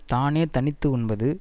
தானே தனித்து உண்பது